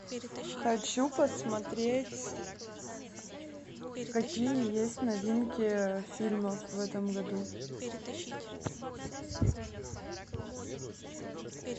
хочу посмотреть какие есть новинки фильмов в этом году